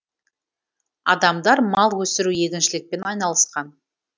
адамдар мал өсіру егіншілікпен айналысқан